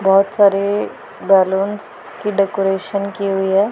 बहोत सारे बलूंस की डेकोरेशन की हुई है।